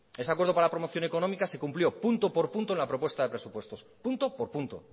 ese acuerdo para la promoción económica se cumplió punto por punto en la propuesta de presupuestos punto por punto